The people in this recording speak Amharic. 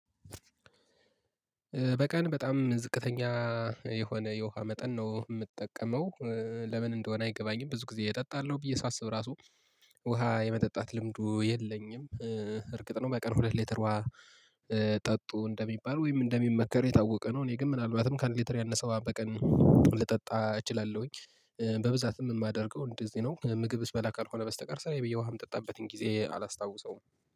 በቀን በጣም ዝቅተኛ የሆነ የውሃ መጠን ነው የምጠቀመው፤ ለምን እንደሆነ አይገባኝም ብዙ ጊዜ እጠጣለሁ ብዬ ሳስብ ራሱ ውሃ የመጠጣት ልምዱ የለኝም፤ እርግጥ ነው በቀን ሁለት ሌተር ውሃ ጠጡ እንደሚባል ወይም እንደሚመከር የታወቀ ነው እኔ ግን ምናልባትም ካንድ ሊተር ያነሰው በቀን ልጠጣ እችላለሁኝ፤ በብዛትም የማደርገው እንደዚህ ነው ምግብ ስበላ ካልሆነ በስተቀር ስራየ ብዬ ውሃ የምጠጣበትን ጊዜ አላስታውሰውም።